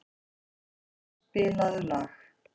Agata, spilaðu lag.